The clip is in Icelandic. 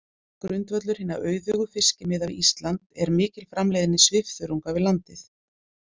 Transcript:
Grundvöllur hinna auðugu fiskimiða við Ísland er mikil framleiðni svifþörunga við landið.